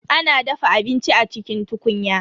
A na dafa abinci a cikin tukunya.